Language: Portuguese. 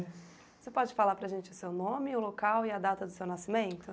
Você pode falar para a gente o seu nome, o local e a data do seu nascimento?